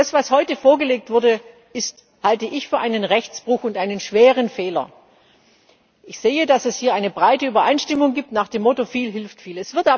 Das, was heute vorgelegt wurde, halte ich für einen Rechtsbruch und einen schweren Fehler. Ich sehe, dass es hier eine breite Übereinstimmung gibt nach dem Motto Viel hilft